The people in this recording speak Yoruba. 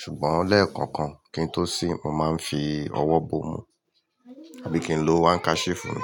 Ṣùgbọ́n lẹ́ẹ̀kọ̀kan kí n tó sín, mo máa ń fi ọwọ́ bo mú. Abíkì n lo handkerchief mi.